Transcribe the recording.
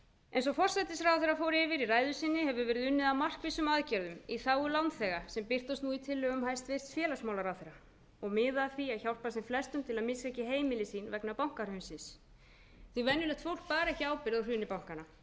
eins og forsætisráðherra fór yfir í ræðu sinni hefur verið unnið að markvissum aðgerðum í lágu lánþega sem birtast nú í tillögu hæstvirts félagsmálaráðherra og miða að því að hjálpa þeim flestum til að missa ekki heimili sín vegna bankahrunsins venjulegt fólk bar ekki ábyrgð á hruni bankanna